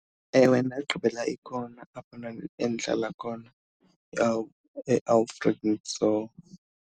Ewe, ndagqibela ikhona apho endihlala khona eAlfred Nzo.